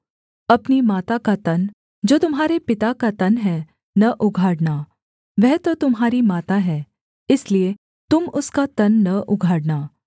अपनी माता का तन जो तुम्हारे पिता का तन है न उघाड़ना वह तो तुम्हारी माता है इसलिए तुम उसका तन न उघाड़ना